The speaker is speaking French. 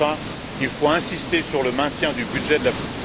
Enfin, il faut insister sur le maintien du budget de la politique...